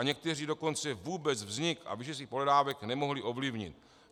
A někteří dokonce vůbec vznik a výši svých pohledávek nemohli ovlivnit.